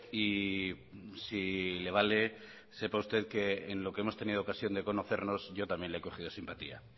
y si le vale sepa usted que en lo que hemos tenido ocasión de conocernos yo también le he cogido simpatía